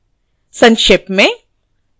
संक्षेप में